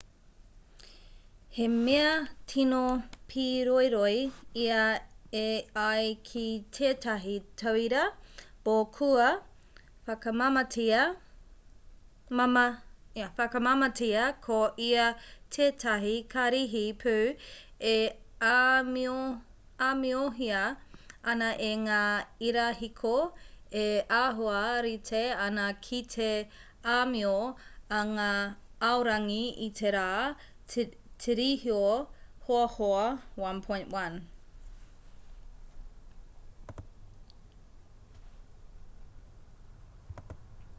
he mea tino pīroiroi ia e ai ki tētahi tauira bohr kua whakamāmātia ko ia tētahi karihi pū e āmiohia ana e ngā irahiko e āhua rite ana ki te āmio a ngā aorangi i te rā tirohia hoahoa 1.1